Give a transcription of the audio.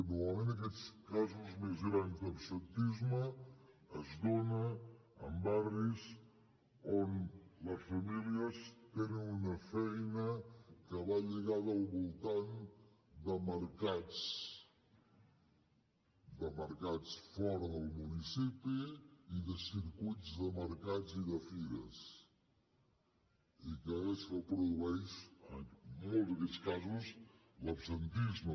normalment aquests casos més grans d’absentisme es donen en barris on les famílies tenen una feina que va lligada al voltant de mercats de mercats fora del municipi i de circuits de mercats i de fires i això produeix en molts d’aquests casos l’absentisme